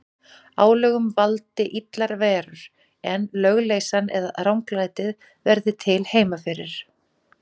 Álögum valdi illar verur, en lögleysan eða ranglætið verði til heima fyrir.